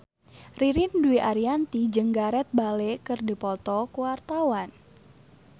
Ririn Dwi Ariyanti jeung Gareth Bale keur dipoto ku wartawan